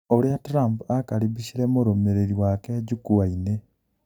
ũria Trump akaribicire mũrũmĩrĩri wake jukwa-inĩ